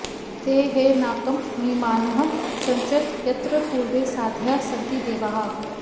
ते ह नाकं महिमानः सचन्त यत्र पूर्वे साध्याः सन्ति देवाः